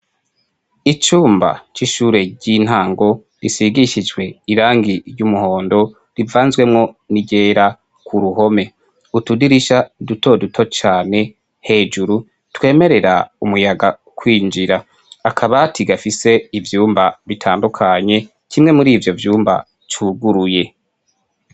icumba cy'ishure ry'intango risigishijwe irangi ry'umuhondo rivanzwemwo n'iryera ku ruhome utudirisha duto duto cyane hejuru twemerera umuyaga kwinjira akabati gafise ivyumba bitandukanye kimwe muri ivyo vyumba cuguruye.